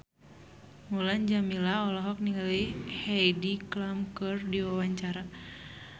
Mulan Jameela olohok ningali Heidi Klum keur diwawancara